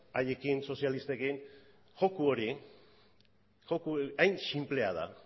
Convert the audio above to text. haiekin sozialistekin joko hori hain sinplea da